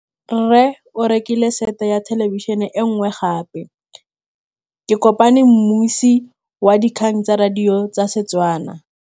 Rre o rekile sete ya thêlêbišênê e nngwe gape. Ke kopane mmuisi w dikgang tsa radio tsa Setswana.